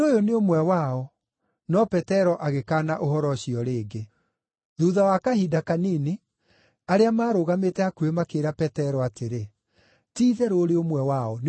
No Petero agĩkaana ũhoro ũcio rĩngĩ. Thuutha wa kahinda kanini, arĩa maarũgamĩte hakuhĩ makĩĩra Petero atĩrĩ, “Ti-itherũ ũrĩ ũmwe wao, nĩ ũndũ wĩ Mũgalili.”